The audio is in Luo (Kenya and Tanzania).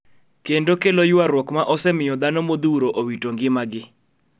Kendo kelo ywaruok ma osemiyo dhano modhuro owito ngimagi